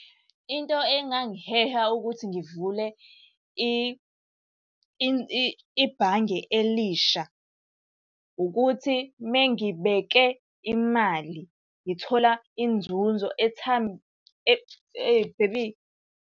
Into engangiheha ukuthi ngivule ibhange elisha, ukuthi uma ngibeke imali ngithola inzunzo .